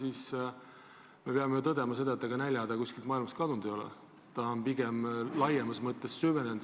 Me ju peame tõdema, et näljahäda pole maailmast kadunud, see on pigem laiemas mõttes süvenenud.